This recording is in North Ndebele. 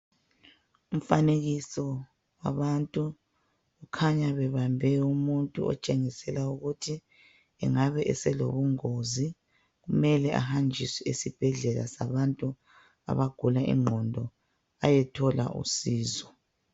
Umfanekiso wabantu kukhanya bebambe umuntu otshengisela ukuthi enagbe eselobungozi kumele ahanjiswe esibhedlela sabantu abagula ingqondo eyethola usizo.